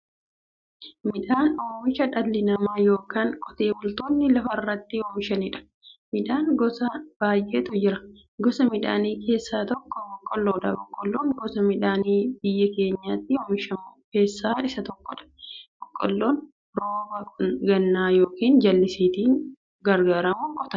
Midhaan oomisha dhalli namaa yookiin qotee bultoonni lafarraatti oomishaniidha. Midhaan gosa baay'eetu jira. Gosa Midhaanii keessaa tokko boqqoolloodha. Boqqoolloon gosa Midhaanii biyya keenyatti oomishamu keessaa isa tokkodha. Boqqoolloon rooba gannaa yookiin jallisiitti gargaaramuun qotama.